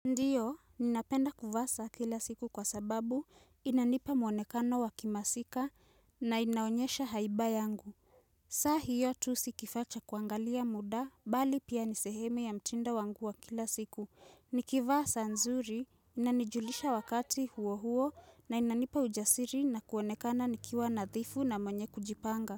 Ndiyo, ninapenda kuvaa saa kila siku kwa sababu inanipa mwonekano wakimasika na inaonyesha haiba yangu. Saa hiyo tu si kifas cha kuangalia muda, bali pia nisehemu ya mtindo wangu wa kila siku. Nikivaa saa nzuri, inanijulisha wakati huo huo na inanipa ujasiri na kuonekana nikiwa nadhifu na mwenye kujipanga.